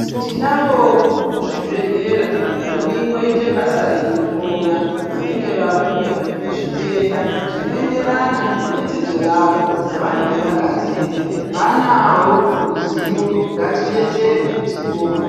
Tinavo muzvibhedhlera vanongoita basa rekuhloya vanenge vauya nezvitenda zvinoenderana nedzidzo yavo yavanenge vakadzidza vanarwo ruzivo ngatidetserwe tipone.